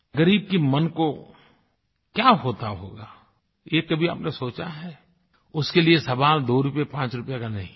ग़रीब के मन को क्या होता होगा ये कभी आपने सोचा है उसके लिए सवाल दो रूपये पांच रूपये का नहीं है